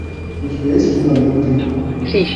у тебя есть кино лютый